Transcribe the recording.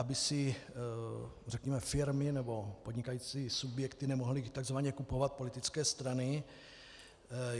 Aby si řekněme firmy nebo podnikající subjekty nemohly takzvaně kupovat politické strany.